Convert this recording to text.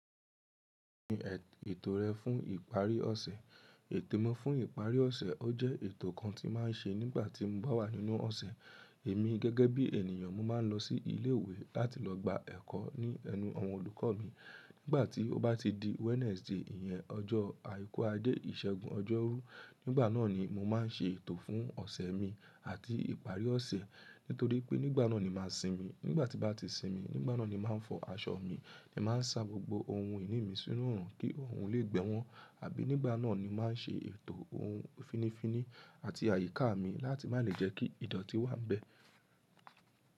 Mi ètò rẹ fún ìparí ọ̀sẹ̀, ètò mi fún ìparí ọ̀sẹ̀ ọ́ jẹ́ ètò kan tí máa ń ṣe nígbà tí mo bá wà nínú ọ̀sẹ̀. Èmi gẹ́gẹ́ bí ènìyàn, mo máa ń lọ sí ilé ìwé láti lọ gba ẹ̀kọ́ ní ẹnu àwọn olùkọ́ mi. Nígbà tí ó bá ti di Wednesday ìyẹn ọjọ́ àìkú ajẹ́ ìṣẹ́gun ọjọ́rú nígbà náà ni mo máa ń ṣe ètò fún ọ̀sẹ̀ mi àti ìparí ọ̀sẹ̀ nítorí pé nígbà náà ni màá ń sinmi. Nígbà tí bàá ti sinmi, nígbà náà ni màá fọ aṣọ mi, mi máa ń sa gbogbo ohun ìní mi sínú òòrùn kí òòrùn lè gbẹ wọn àbí nígbà náà ni màá ṣe ètò ohun finifini àti àyíká mi láti má lè jẹ́ kí ìdọ̀tí wá ń bẹ.